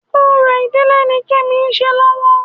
Orò ìdílé ni kemi ń ṣe lọ́wọ́